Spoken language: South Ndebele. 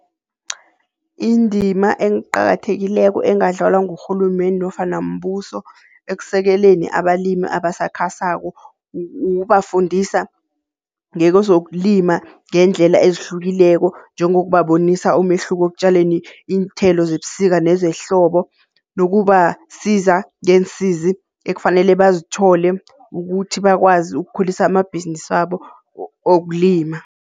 Indima eqakathekileko engadlalwa ngurhulumende nofana mbuso ekusekeleni abalimi abasakhasako kubafundisa ngekozokulima ngendlela ezihlukileko njengokubabonisa umehluko ekutjaleni iinthelo zebusika nezehlobo. Nokubasiza ngeensizi ekufanele bazithole ukuthi bakwazi ukukhulisa amabhizinisabo wokulima.